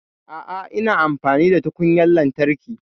A'a, ina amfani da tukunyar lantarki